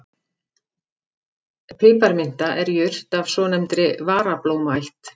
Piparminta er jurt af svonefndri varablómaætt.